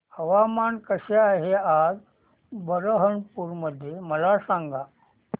हवामान कसे आहे आज बरहमपुर मध्ये मला सांगा